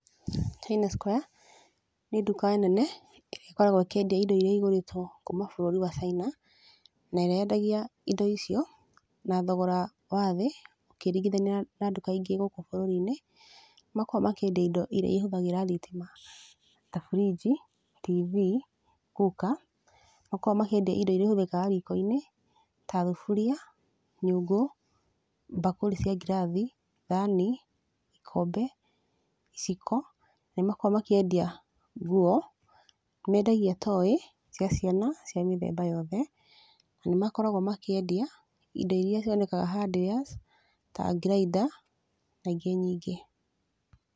China Square nĩ nduka nene, ĩrĩa ĩkoragwo ĩkĩendia indo iria igũrĩtwo kuuma bũrũri wa China, na ĩrĩa yendagia indo icio, na thogora wathĩ, ũkĩringithania na nduka ingĩ gũkũ bũrũri-inĩ. Nĩ makoragwo makĩendia indo iria ihũthĩraga thitima ta bũrinji, TV, cooker, nĩ makoragwo makĩendia indo iria ihũthĩkaga riko-inĩ, ta thuburia, nyũngũ, mbakũri cia ngirathi, thani, ikombe, iciko, nĩ makoragwo makĩendia nguo, nĩ mendagia toy cia ciana cia mĩthemba yothe, nĩ makoragwo makĩendia indo iria cionekaga hardwares ta grinder na ingĩ nyingĩ.